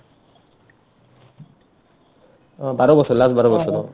অ বাৰ বছৰ last বাৰ বছৰ অ